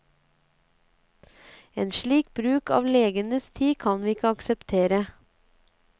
En slik bruk av legenes tid kan vi ikke akseptere.